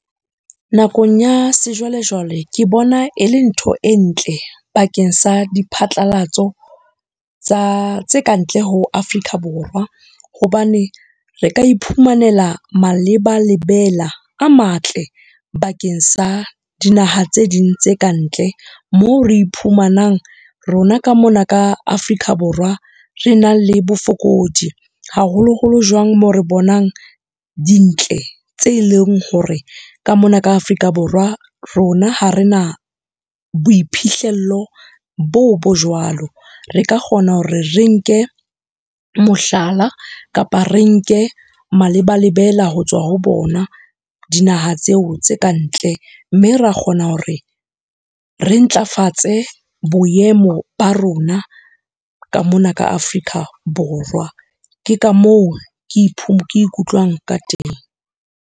Nakong ya sejwalejwale ke bona e le ntho e ntle bakeng sa di phatlalatso tse kantle ho Afrika Borwa. Hobane re ka iphumanela maleba-lebela a matle bakeng sa dinaha tse ding tse kantle, moo re iphumanang rona ka mona ka Afrika Borwa, re nang le bofokodi. Haholoholo jwang moo re bonang dintle tse eleng hore ka mona ka Afrika Borwa rona ha re na boiphihlello boo bo jwalo. Re ka kgona hore re nke, mohlala kapa re nke maleba-lebela ho tswa ho bona, dinaha tseo tse ka ntle. Mme ra kgona hore re ntlafatse boemo ba rona ka mona ka Afrika Borwa. Ke ka moo ke , ke ikutlwang ka teng.